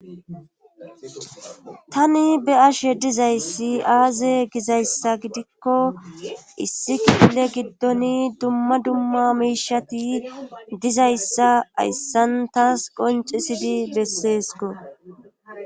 tani be ashe dizayssi aaze gizayssa gidikko issi kille giddoni dumma dumma miishati dizayssa ayssan taas qoncisidi besseesko